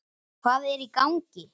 HVAÐ ER Í GANGI??